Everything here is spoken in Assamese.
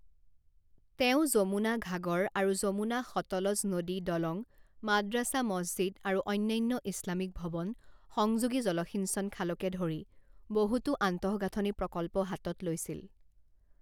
তেওঁ যমুনা ঘাগৰ আৰু যমুনা সতলজ নদী দলং মাদ্ৰাছা মছজিদ আৰু অন্যান্য ইছলামিক ভৱন সংযোগী জলসিঞ্চন খালকে ধৰি বহুতো আন্তঃগাঁথনি প্ৰকল্প হাতত লৈছিল।